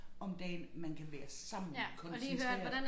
Om dagen man kan være sammen koncentreret